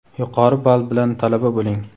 yuqori ball bilan talaba bo‘ling.